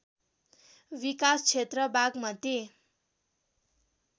विकास क्षेत्र बागमती